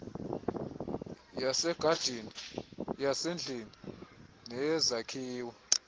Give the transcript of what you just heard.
yasegadini yasendlini neyezakhiwo